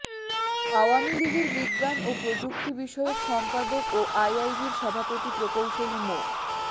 আওয়ামী লীগের বিজ্ঞান ও প্রযুক্তি বিষয়ক সম্পাদক ও আইইবির সভাপতি প্রকৌশলী মো